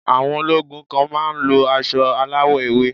Àwọn ológun kan má a ń lo asọ aláwọ̀ ewé